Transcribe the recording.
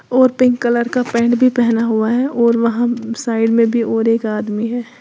और pink colour का pant भी पहना हुआ है और वहां साइड में भी और एक आदमी है।